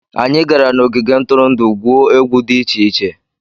Anyị gara n'ogige ntụrụndụ gwuo egwu dị iche iche.